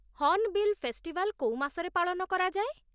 Hornbill festival କୋଉ ମାସରେ ପାଳନ କରାଯାଏ?